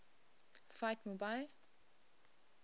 fight mu bai